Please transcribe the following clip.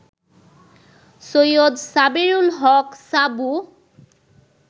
সৈয়দ সাবেরুল হক সাবু